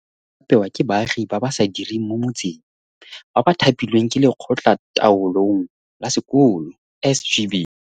Dijo tseno di apewa ke baagi ba ba sa direng mo motseng, ba ba thapilweng ke Lekgotlataolong la Sekolo, SGB.